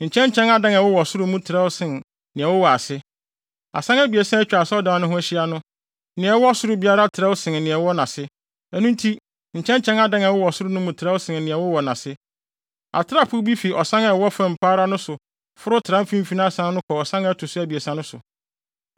Nkyɛnkyɛn adan a ɛwowɔ soro no mu trɛw sen nea ɛwowɔ ase. Asan abiɛsa a atwa asɔredan no ho ahyia no, nea ɛwɔ soro biara trɛw sen nea ɛwɔ nʼase, ɛno nti nkyɛnkyɛn adan a ɛwowɔ soro no mu trɛw sen nea ɛwowɔ nʼase. Atrapoe bi fi ɔsan a ɛwɔ fam pa ara no so foro tra mfimfini asan no kɔ ɔsan a ɛto so abiɛsa no so.